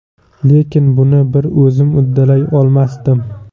Lekin buni bir o‘zim uddalay olmasdim.